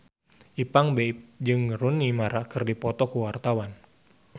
Ipank BIP jeung Rooney Mara keur dipoto ku wartawan